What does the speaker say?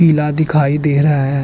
किला दिखाई दे रहा है।